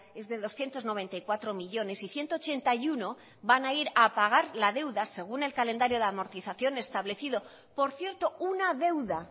es de doscientos noventa y cuatro millónes y ciento ochenta y uno van a ir a pagar la deuda según el calendario de amortización establecido por cierto una deuda